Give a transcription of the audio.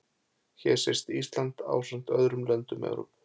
Hér sést Ísland ásamt öðrum löndum Evrópu.